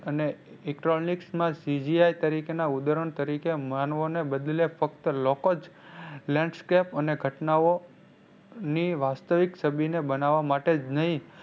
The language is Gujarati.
અને CGI તરીકે ના ઉદાહરણ તરીકે માનવો ને બદલે ફક્ત લોકો જ landscap અને ઘટનાઓ ની વાસ્તવિક છબી ને બનાવા માટે જ નહીં